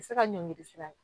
Se ka ɲɔngiri sira la